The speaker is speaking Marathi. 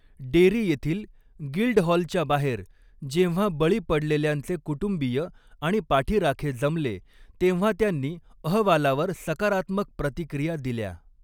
डेरी येथील गिल्डहॉलच्या बाहेर जेव्हा बळी पडलेल्यांचे कुटुंबीय आणि पाठीराखे जमले, तेव्हा त्यांनी अहवालावर सकारात्मक प्रतिक्रिया दिल्या.